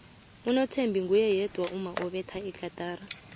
unothembi nguye yedwa umma obetha igatara